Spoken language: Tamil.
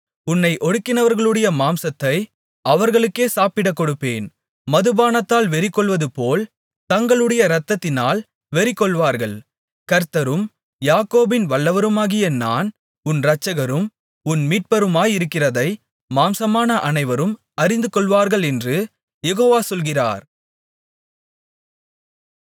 உன்னை ஒடுக்கினவர்களுடைய மாம்சத்தை அவர்களுக்கே சாப்பிடக்கொடுப்பேன் மதுபானத்தால் வெறிகொள்வதுபோல் தங்களுடைய இரத்தத்தினால் வெறிகொள்வார்கள் கர்த்தரும் யாக்கோபின் வல்லவருமாகிய நான் உன் இரட்சகரும் உன் மீட்பருமாயிருக்கிறதை மாம்சமான அனைவரும் அறிந்துகொள்வார்களென்று யெகோவா சொல்கிறார்